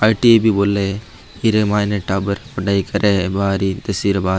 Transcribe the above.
आई.टी.आई. भी बोले फिर इ मायने टाबर पढाई करे बारवी दसवी रे बाद।